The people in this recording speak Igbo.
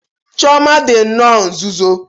Chioma dị nnọọ nzuzo.